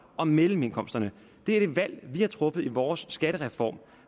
og mellemindkomstgrupperne det er det valg vi har truffet i vores skattereform